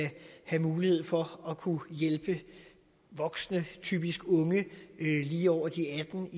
have mulighed for at kunne hjælpe voksne typisk unge lige over de atten